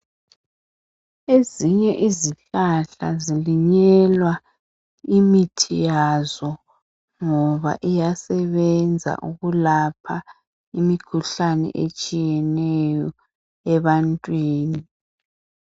Ezinye izihlahla zilinyelwa imithi yazo ngoba iyasebenza ukulapha imikhuhlane etshiyeneyo ebantwini.